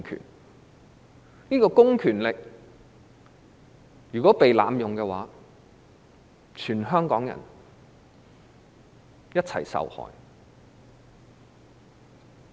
如果這個公權力被濫用，全香港人將一起受害。